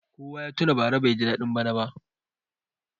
Kowa ya tuna bara baiji daɗin bana ba.